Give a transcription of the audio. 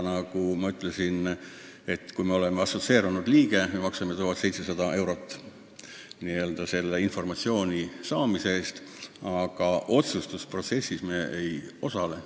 Nagu ma ütlesin, maaülikool on assotsieerunud liige ja maksab 1700 eurot n-ö asjaomase informatsiooni saamise eest, aga otsustusprotsessis me ei osale.